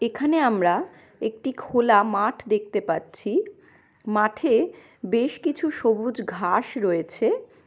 এখানে আমরা একটি খোলা মাঠ দেখতে পাচ্ছি মাঠে বেস কিছু সবুজ ঘাস রয়েছে।